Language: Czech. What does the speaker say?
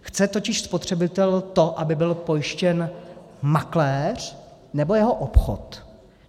Chce totiž spotřebitel to, aby byl pojištěn makléř, nebo jeho obchod?